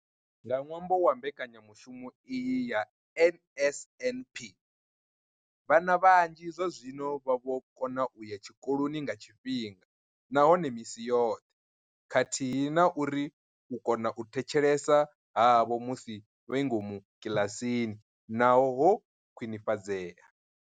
Nga ṅwambo wa mbekanya mushumo iyi ya NSNP, vhana vhanzhi zwazwino vha vho kona u ya tshikoloni nga tshifhinga nahone misi yoṱhe khathihi na uri u kona u thetshelesa havho musi vhe ngomu kiḽasini na hone ho khwinifhadzea.